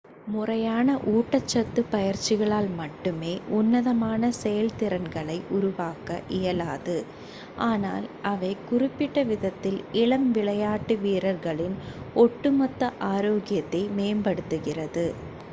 முறையான ஊட்டச்சத்து பயிற்சிகளால் மட்டுமே உன்னதமான செயல்திறன்களை உருவாக்க இயலாது ஆனால் அவை குறிப்பிட்ட விதத்தில் இளம் விளையாட்டு வீரர்களின் ஒட்டுமொத்த ஆரோக்கியத்தை மேம்படுத்துகிறது